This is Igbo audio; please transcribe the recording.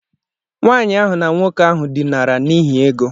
Nwanyị ahụ na nwoke ahụ dinara n'ihi ego.